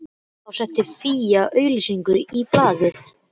inu sem var varin með öflugri járngrind.